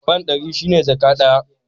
Fan ɗari shi ne jaka ɗaya.